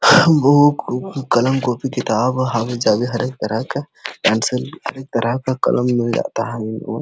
हां घोहो कलम कॉपी किताब हर जगह का पैंसिल हर तरह का कलम मिल जाता है।